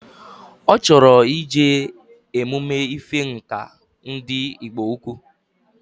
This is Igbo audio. Ochoro ije emume ife Ǹkà ndi igbo-ukwu